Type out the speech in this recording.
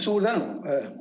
Suur tänu!